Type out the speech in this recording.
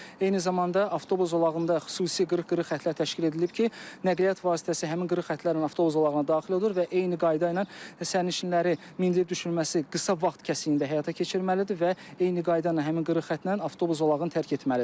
Eyni zamanda avtobus zolağında xüsusi qırıq-qırıq xətlər təşkil edilib ki, nəqliyyat vasitəsi həmin qırıq xətlərlə avtobus zolağına daxil olur və eyni qayda ilə sərnişinləri mindirib düşürülməsi qısa vaxt kəsiyində həyata keçirməlidir və eyni qayda ilə həmin qırıq xəttlə avtobus zolağını tərk etməlidir.